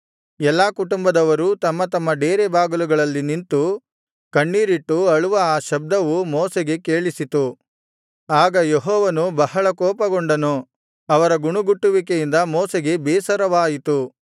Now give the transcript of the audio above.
ಎಲ್ಲಾ ಕುಟುಂಬದವರೂ ತಮ್ಮ ತಮ್ಮ ಡೇರೆ ಬಾಗಿಲುಗಳಲ್ಲಿ ನಿಂತು ಕಣ್ಣೀರಿಟ್ಟು ಅಳುವ ಆ ಶಬ್ದವು ಮೋಶೆಗೆ ಕೇಳಿಸಿತು ಆಗ ಯೆಹೋವನು ಬಹಳ ಕೋಪಗೊಂಡನು ಅವರ ಗುಣುಗುಟ್ಟುವಿಕೆಯಿಂದ ಮೋಶೆಗೆ ಬೇಸರವಾಯಿತು